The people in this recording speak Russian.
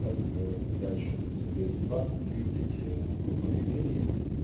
так дальше то есть создаёте двадцать-тридцать групп объявлений